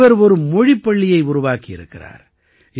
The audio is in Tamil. இவர் ஒரு மொழிப் பள்ளியை உருவாக்கியிருக்கிறார்